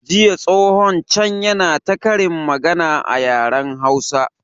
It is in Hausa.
Jiya tsohon can yana ta ƙarin magana a yaren hausa